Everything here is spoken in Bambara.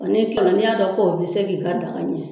n'e kila la n'i y'a dɔn k'o bɛ se k'i ka daga ɲɛ.